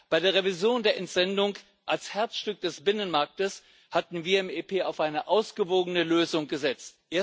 Bei der Revision der Entsendung als Herzstück des Binnenmarktes hatten wir im EP auf eine ausgewogene Lösung gesetzt.